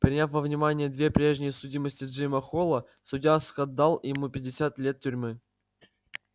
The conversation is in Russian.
приняв во внимание две прежние судимости джима холла судья скоттдал ему пятьдесят лет тюрьмы